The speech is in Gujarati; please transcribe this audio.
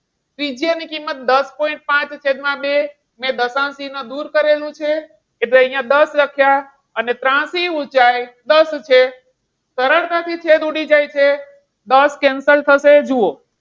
ત્રિજ્યા ની કિંમત દસ point પાંચ છે. એટલે છેદમાં બે. દશાંશ ચિન્હ દૂર કરેલું છે. એટલે અહિયાં દસ લખ્યા અને ત્રાસી ઊંચાઈ દસ છે. સરળતાથી છેદ ઉડી જાય છે. દસ cancel થશે. જુઓ.